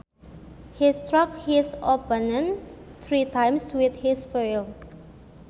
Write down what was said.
He struck his opponent three times with his foil